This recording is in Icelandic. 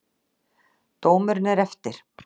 Dómurinn er eftir!